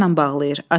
Açarla bağlayır.